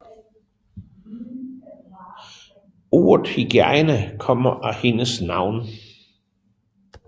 Ordet hygiejne kommer af hendes navn